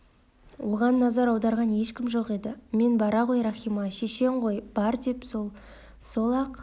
оған назар аударған ешкім жоқ еді мен бара ғой рахима шешең ғой бар дедім сол сол-ақ